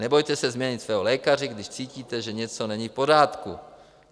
Nebojte se změnit svého lékaře, když cítíte, že něco není v pořádku.